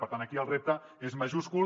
per tant aquí el repte és majúscul